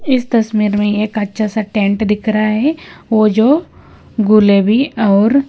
इस तस्वीर में एक अच्छा सा टेंट दिख रहा है वो जो गुलेबी और--